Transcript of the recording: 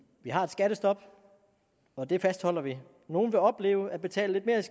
vi har et skattestop og det fastholder vi nogle vil opleve at betale lidt